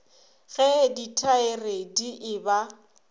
ge ditaere di e ba